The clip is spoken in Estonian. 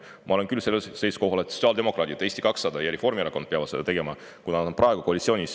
Ma olen aga küll seisukohal, et sotsiaaldemokraadid, Eesti 200 ja Reformierakond peavad seda tegema, kuna nad on praegu koalitsioonis.